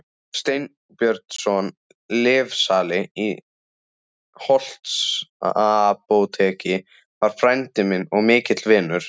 Sveinbjörnsson lyfsali í Holtsapóteki var frændi minn og mikill vinur.